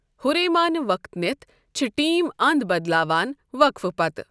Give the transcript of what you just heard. ہُرے مانہٕ وقت نِتھ چھِ ٹیٖم اَنٛد بدلاوان وقفہٕ پتہٕ۔